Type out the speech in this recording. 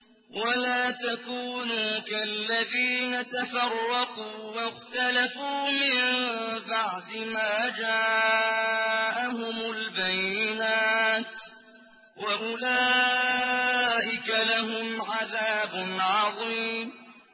وَلَا تَكُونُوا كَالَّذِينَ تَفَرَّقُوا وَاخْتَلَفُوا مِن بَعْدِ مَا جَاءَهُمُ الْبَيِّنَاتُ ۚ وَأُولَٰئِكَ لَهُمْ عَذَابٌ عَظِيمٌ